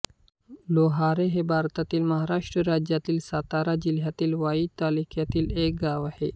लोहारे हे भारतातील महाराष्ट्र राज्यातील सातारा जिल्ह्यातील वाई तालुक्यातील एक गाव आहे